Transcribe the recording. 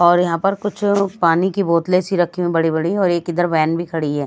और यहां पर कुछ पानी की बोतले सी रखी हुई बड़ी-बड़ी और एक इधर वेन भी खड़ी है।